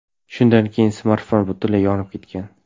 Shundan keyin smartfon butunlay yonib ketgan.